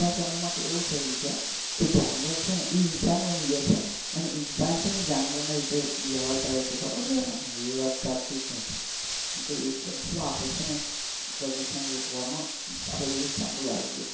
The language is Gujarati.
આજ ના સમય માં છે ને એવું થઇ ગયુ છે ને કે જાનવર છે ને ઇન્શાન બની ગયા છે અને ઇન્શાન છે ને જાનવર ના રીતે વ્યવહાર કરે છે ખબર છે તને હું એજ કાઉ છુ આપણે છે ને પ્રદુશન રોકવા માં આપણે સમૂહ લાઈયે.